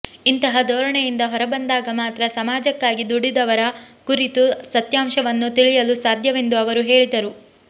ಇಂತಹ ಧೋರಣೆಯಿಂದ ಹೊರಬಂದಾಗ ಮಾತ್ರ ಸಮಾಜಕ್ಕಾಗಿ ದುಡಿದವರ ಕುರಿತು ಸತ್ಯಾಂಶವನ್ನು ತಿಳಿಯಲು ಸಾಧ್ಯವೆಂದು ಅವರು ಹೇಳಿದರು